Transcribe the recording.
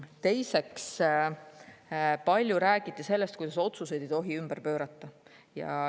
Teiseks, palju räägiti sellest, kuidas otsuseid ei tohi ümber pöörata.